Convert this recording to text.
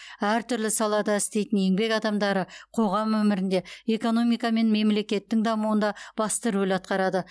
әртүрлі салада істейтін еңбек адамдары қоғам өмірінде экономика мен мемлекеттің дамуында басты рөл атқарады